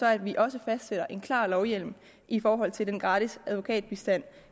at vi også fastsætter en klar lovhjemmel i forhold til den gratis advokatbistand